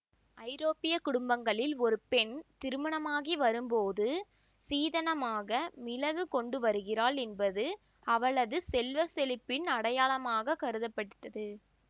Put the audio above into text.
ஐரோப்பிய குடும்பங்களில் ஒரு பெண் திருமணமாகி வரும்போது சீதனமாக மிளகு கொண்டுவருகிறாள் என்பது அவளது செல்வ செழிப்பின் அடையாளமாகக் கருதப்பட்டது